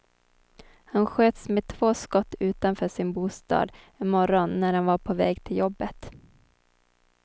Han sköts med två skott utanför sin bostad en morgon när han var på väg till jobbet.